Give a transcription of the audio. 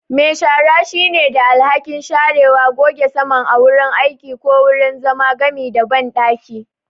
Me shara shine da alhakin sharewa, goge saman a wurin aiki ko wurin zama, gami da banɗaki.